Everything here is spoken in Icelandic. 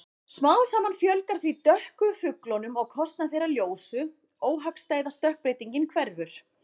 Smám saman fjölgar því dökku fuglunum á kostnað þeirra ljósu- óhagstæða stökkbreytingin hverfur.